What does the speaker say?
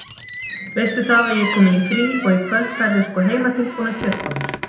Veistu það að ég er komin í frí og í kvöld færðu sko heimatilbúnar kjötbollur.